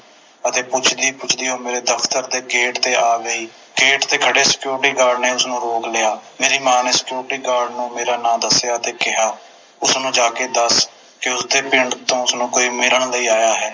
ਅਤੇ ਪੁੱਛਦੀ ਪੁੱਛਦੀ ਉਹ ਮੇਰੇ ਦਫਤਰ ਦੇ ਗੇਟ ਤੇ ਆ ਗਈ ਗੇਟ ਤੇ ਖੜ੍ਹੇ Security Guard ਨੇ ਉਸਨੂੰ ਰੋਕ ਲਿਆ ਮੇਰੀ ਮਾਂ ਨੇ Security Guard ਨੂੰ ਮੇਰਾ ਨਾਮ ਦਸਿਆ ਤੇ ਕਿਹਾ ਉਸਨੂੰ ਜਾ ਕੇ ਦੱਸ ਦਿਓ ਕੇ ਪਿੰਡ ਤੋਂ ਉਸਨੂੰ ਕੋਈ ਮਿਲਣ ਲਈ ਆਇਆ ਹੈ